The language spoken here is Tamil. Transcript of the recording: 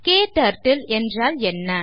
க்டர்ட்டில் என்றால் என்ன